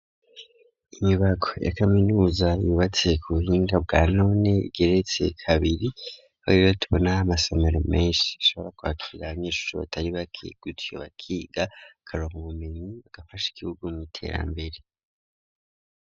Inyubako ya kaminuza yubatse ku buhinga bwa none igeretse kabiri horerotbonah amasomero mansh ishobora kuakira abanyishusho batari bake gutyo bakiga karon ubumenyi bagafasha igihugu mu iterambere.